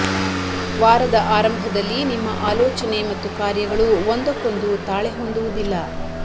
ವಾರದ ಆರಂಭದಲ್ಲಿ ನಿಮ್ಮ ಆಲೋಚನೆ ಮತ್ತು ಕಾರ್ಯಗಳು ಒಂದಕ್ಕೊಂದು ತಾಳೆ ಹೊಂದುವುದಿಲ್ಲ